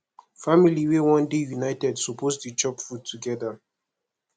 family wey wan dey united suppose dey chop food togeda